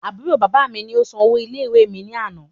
Àbúrò baba mi ni o san owó ilé ìwé mi ni àná